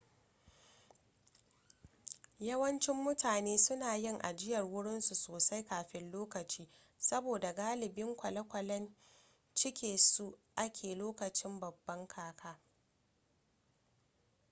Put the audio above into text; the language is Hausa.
yawancin mutane suna yin ajiyar wurin su sosai kafin lokaci saboda galibin kwale-kwalen cike suke a lokacin babban kaka